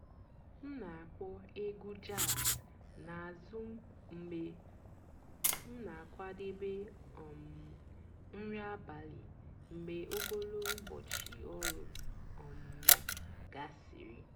m nà-ákpọ̀ ègwú jàzz n'àzụ́ mg̀bé m nà-àkwàdébé um nrí àbàlí mg̀bé ògólo ụ́bọ̀chị́ ọ̀rụ́ um gàsị́rị́.